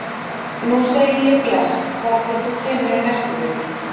Nú segi ég bless þar til þú kemur í næstu viku.